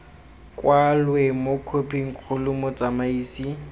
kwalwe mo khophing kgolo motsamaisi